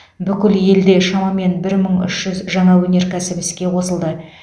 бүкіл елде шамамен бір мың үш жүз жаңа өнеркәсіп іске қосылды